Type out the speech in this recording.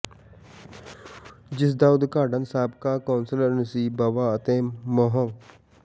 ਜਿਸ ਦਾ ਉਦਘਾਟਨ ਸਾਬਕਾ ਕੌਂਸਲਰ ਨਸੀਬ ਬਾਵਾ ਅਤੇ ਮੁਹੱ